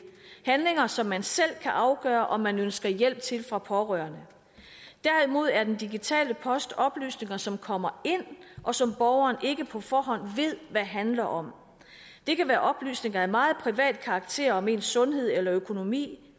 handlinger som man selv kan afgøre om man ønsker hjælp til fra pårørende derimod er den digitale post oplysninger som kommer ind og som borgeren ikke på forhånd ved hvad handler om det kan være oplysninger af meget privat karakter om ens sundhed eller økonomi